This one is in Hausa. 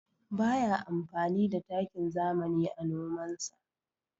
Ba ya amfani da takin zamani a nomansa.